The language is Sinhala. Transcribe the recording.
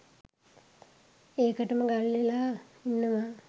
ඒකටම ගල්වෙලා ඉන්නවා.